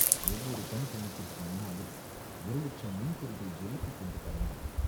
ஒவ்வொரு கண் துணுக்கிற்கு முன்னாலும் ஒரு லட்சம் மின்பொறிகள் ஜொலித்துக்கொண்டு பறந்தன.